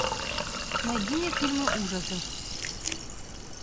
найди мне фильмы ужасов